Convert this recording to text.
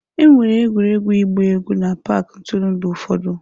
Enwere egwuregwu ịgba egwu n'paaki ntụrụndụ ụfọdụ.